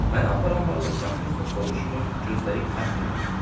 Məni aparan varlıqdan heç nə soruşmur, gözləyib fəxr edirdim.